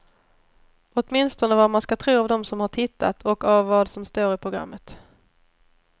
Åtminstone vad man ska tro av dem som har tittat, och av vad som står i programmet.